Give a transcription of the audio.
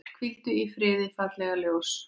Hvíldu í friði, fallega ljós.